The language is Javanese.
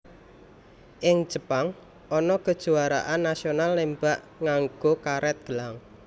Ing Jepang ana kejuwaraan nasional nembak nganggo karet gelang